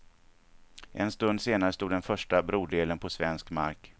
En stund senare stod den första brodelen på svensk mark.